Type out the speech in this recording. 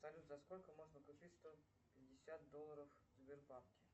салют за сколько можно купить сто пятьдесят долларов в сбербанке